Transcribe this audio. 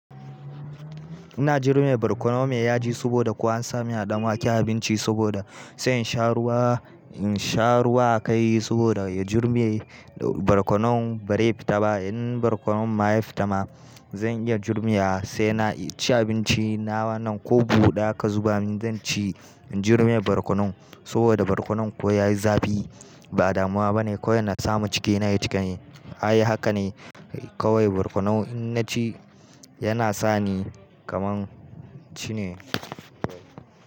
Ina jurme barkonon me ya ji saboda ko an sami hadamuwaki abinci saboda sai in sha ruwa, in sha ruwa ka yi saboda ya jurme barkonon barai fita ba. In barkonon ma ya fita ma zan iya jurmiya sai na ci abinci na wannan ko buɗa ka zuba min zan ci in jurme barkonon saboda barkonon ko ya yi zafi ba damuwa ba ne. Ko ya na samu cikina ya cika. Ai haka ne kawai barkonon in na ci yana sa ni kaman ci ne.